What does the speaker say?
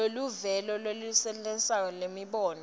luvelo lolwenelisako lwemibono